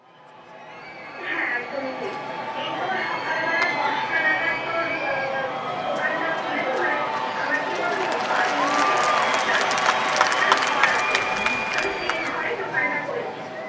হ্যাঁ, একদমই ঠিক। এই তোর সকালবেলা দশটা নাগাদ তোর দোকানটা খুলে দিই। মানে আমার কি বলতো বাড়ির নিচে একটা extra ঘর আছে। তো আমি সে ঘরে দোকানটা করেছি।